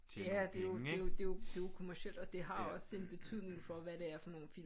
Ja og det er jo kommercielt og det har også en betydning for hvad det er for nogle film